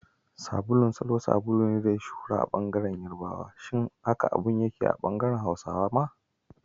Sabulun Salo sabulu ne da ya yi shuhura a bangaren yarabawa, haka abin yake a bangaren Hausawa ma.